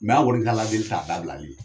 an kɔni ka Ala deli t'a dabilali ye